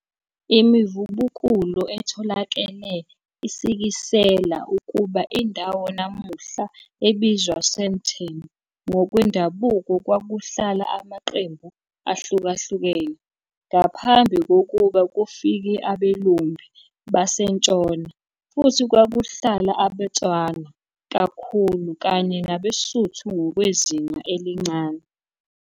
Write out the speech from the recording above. Imivubukulo etholakele isikisela ukuba indawo namuhla ebizwa Sandton, ngokwendabuko kwakuhlala amaqembu ahlukahlukene ngaphambi kokuba kufike abelumbi basentshona, futhi kwakuhlala abeTswana kakhulu, kanye nabeSuthu ngokwezinga elincane.